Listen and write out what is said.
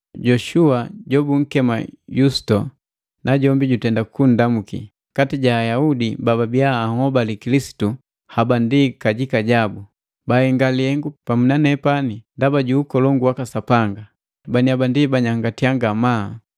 Yoshua jobunkema Yusito, najombi jutenda kundamuki. Kati ja Ayaudi bababia anhobali Kilisitu, haba ndi kajika jabu, bahenga lihengu pamu na nepani ndaba ju ukolongu waka Sapanga, baniaba ndi baanyangati ngamaa.